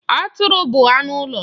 Atụrụ bụ anụ ụlọ.